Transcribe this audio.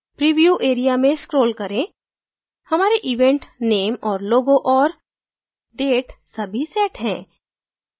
preview area में scroll करें हमारे event name और logo और date सभी set हैं